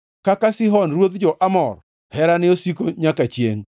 Kaka Sihon ruodh jo-Amor, Herane osiko nyaka chiengʼ.